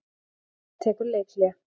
ÍR tekur leikhlé